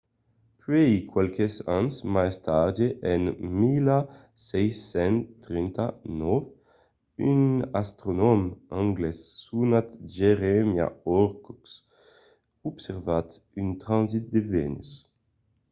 puèi qualques ans mai tard en 1639 un astronòm anglés sonat jeremiah horrocks observèt un transit de vènus